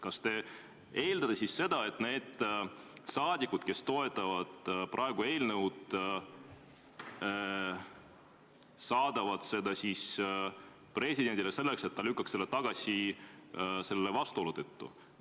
Kas te eeldate seda, et need saadikud, kes toetavad praegu eelnõu, saadavad selle presidendile, selleks et ta lükkaks selle tagasi selle vastuolu tõttu?